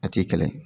A ti kɛlɛ